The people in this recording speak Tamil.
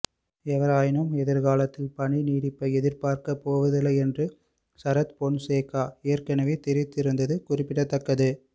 எவ்வாறாயினும் எதிர்காலத்தில் பணிநீடிப்பை எதிர்பார்க்கப் போவதில்லை என்று சரத்பொன்சேகா ஏற்கனவே தெரிவித்திருந்தது குறிப்பிடதக்கது